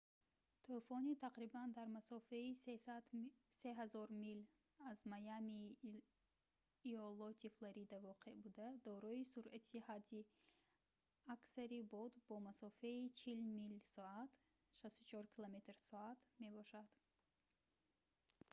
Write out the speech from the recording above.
тӯфони тақрибан дар масофаи 3000 мил аз майамии иолоти флорида воқеъ буда дорои суръати ҳадди аксари бод бо масофаи 40 мил/соат 64 км / соат мебошад